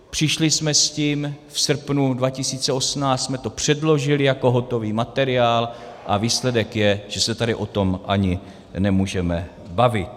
Přišli jsme s tím, v srpnu 2018 jsme to předložili jako hotový materiál, a výsledek je, že se tady o tom ani nemůžeme bavit.